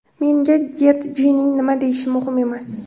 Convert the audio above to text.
Menga Getjining nima deyishi muhim emas.